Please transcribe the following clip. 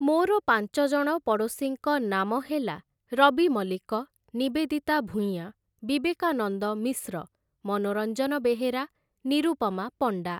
ମୋର ପାଞ୍ଚଜଣ ପଡ଼ୋଶୀଙ୍କ ନାମ ହେଲା ରବି ମଲ୍ଲିକ, ନିବେଦିତା ଭୂୟାଁ, ବିବେକାନନ୍ଦ ମିଶ୍ର, ମନୋରଞ୍ଜନ ବେହେରା, ନିରୂପମା ପଣ୍ଡା ।